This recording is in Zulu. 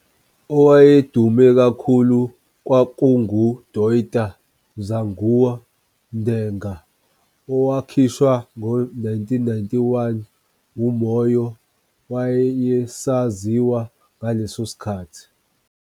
Owayedume kakhulu kwakungu "Ndoita Zvangu Ndega" owakhishwa ngo 1991 uMoyo wayesaziwa ngaleso sikhathi.